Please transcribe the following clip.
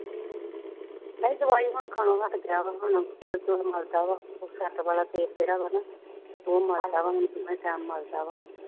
ਨਹੀਂ ਦਵਾਈ ਹੁਣ ਖਾਣ ਵਾਸਤੇ ਕਿਹਾ ਉਹਨਾ ਨੇ, ਤੇਲ ਤੂ਼ਲ ਮੱਲਦਾ ਵਾ, ਵਾਲਾ ਤੇਲ ਜਿਹੜਾ ਵਾ ਨਾ, ਉਹ ਮੱਲਦਾ ਵਾ, ਹੁਣ ਦੋਵੇਂ time ਮੱਲਦਾ ਵਾ ਉਹ